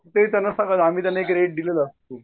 ते त्यांना सांगायचं आम्ही त्यांना दिलं